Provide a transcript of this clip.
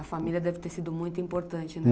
A família deve ter sido muito importante.